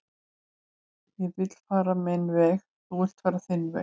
ég vill fara minn veg þú villt fara þinn veg